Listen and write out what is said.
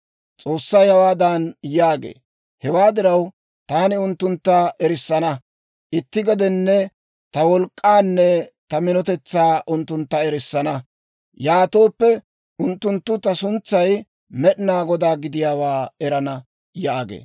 S'oossay hawaadan yaagee; «Hewaa diraw, taani unttuntta erissana. Itti gedenne ta wolk'k'aanne ta minotetsaa unttuntta erissana; yaatooppe unttunttu ta suntsay Med'inaa Godaa gidiyaawaa erana» yaagee.